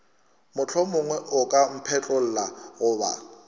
mohlomongwe o ka mphetlolla goba